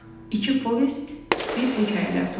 İki povest, bir hekayələr toplusu.